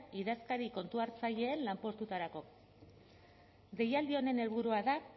idazkari kontuhartzaileen lanpostuetarako deialdi honen helburua da